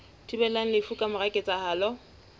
thibelang lefu ka mora ketsahalo